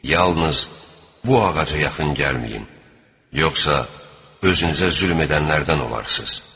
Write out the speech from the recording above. Yalnız bu ağaca yaxın gəlməyin, yoxsa özünüzə zülm edənlərdən olarsınız.